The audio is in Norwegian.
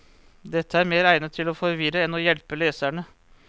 Dette er mer egnet til å forvirre enn å hjelpe leserne.